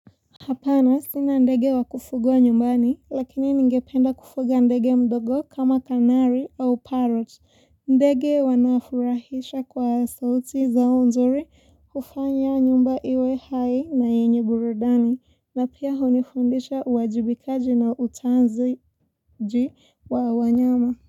Hapana sina ndege wa kufugwa nyumbani lakini ningependa kufuga ndege mdogo kama kanari au parot. Ndege wanafurahisha kwa sauti zao nzuri kufanya nyumba iwe hai na yenye burudani na pia unifundisha uwajibikaji na utanzi wa wanyama.